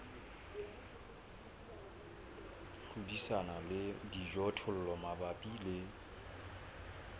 hlodisana le dijothollo mabapi le